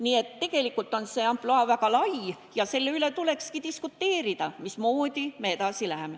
Nii et tegelikult on see ampluaa väga lai ja selle üle tulekski diskuteerida, mismoodi me edasi läheme.